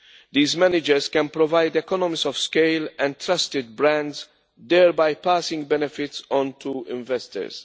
These managers can provide economies of scale and trusted brands, thereby passing benefits on to investors.